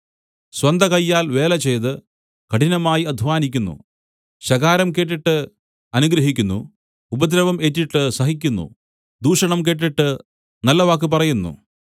സ്വന്തകയ്യാൽ വേലചെയ്ത് കഠിനമായി അദ്ധ്വാനിക്കുന്നു ശകാരം കേട്ടിട്ട് അനുഗ്രഹിക്കുന്നു ഉപദ്രവം ഏറ്റിട്ട് സഹിക്കുന്നു ദൂഷണം കേട്ടിട്ട് നല്ലവാക്ക് പറയുന്നു